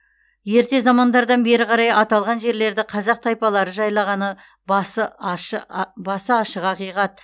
ерте замандардан бері қарай аталған жерлерді қазақ тайпалары жайлағаны басы ашық ақиқат